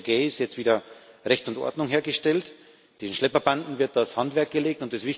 Wir haben in der Ägäis jetzt wieder Recht und Ordnung hergestellt. Den Schlepperbanden wird das Handwerk gelegt.